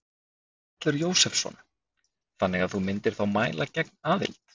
Þórhallur Jósefsson: Þannig að þú myndir þá mæla gegn aðild?